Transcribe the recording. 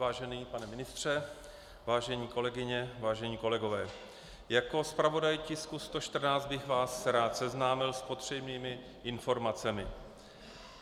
Vážený pane ministře, vážené kolegyně, vážení kolegové, jako zpravodaj tisku 114 bych vás rád seznámil s potřebnými informacemi.